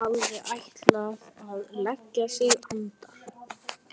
Hann hafði ætlað að leggja sig andar